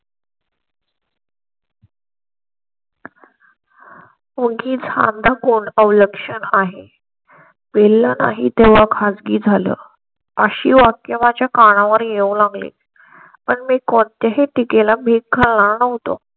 उगीच हा द कोण अवलक्षण आहे वेल ला नाही तेव्हा खासगी झालं अशी वाक्य माझ्या कानावर येऊ लागले. पण मी कोणत्या हे तिघे मिळवतो.